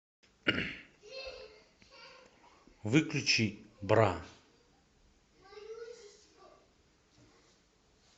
выключи бра